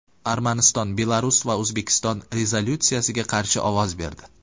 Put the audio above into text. Armaniston, Belarus va O‘zbekiston rezolyutsiyaga qarshi ovoz berdi.